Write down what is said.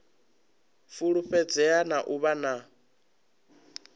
fulufhedzea na u vha na